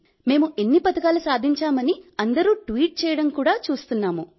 మేం ఇన్ని పతకాలు సాధించామని అందరూ ట్వీట్లు చేయడం కూడా చూస్తున్నాం